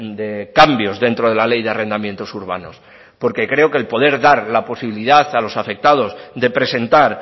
de cambios dentro de la ley de arrendamientos urbanos porque creo que el poder dar la posibilidad a los afectados de presentar